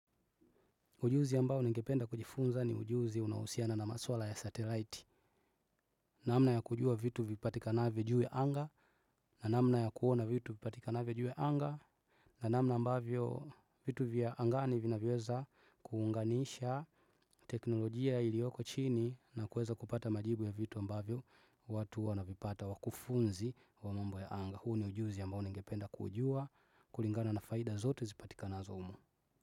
Ujuzi ambao ningependa kujifunza ni ujuzi unaohusiana na maswala ya satelite. Namna ya kujua vitu vipatika na vyo juu ya anga na namna ya kuona vitu vipatikavyo juu ya anga na namna ambavyo vitu vya angani vinavyoweza kuunganisha teknolojia ilioko chini na kuweza kupata majibu ya vitu ambavyo watu wana vipata wakufunzi wa mambo ya anga. Huu ni ujuzi ambao ningependa kuujua kulingana na faida zote zipatika na zo humu.